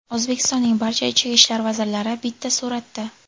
O‘zbekistonning barcha ichki ishlar vazirlari bitta suratda.